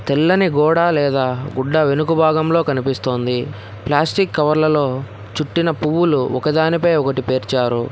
తెల్లని గోడ లేదా గుడ్డ వెనుక భాగంలో కనిపిస్తోంది ప్లాస్టిక్ కవర్ల లో చుట్టిన పువ్వులు ఒక దాని పై ఒకటి పేర్చారు.